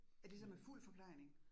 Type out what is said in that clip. Er det så med fuld forplejning?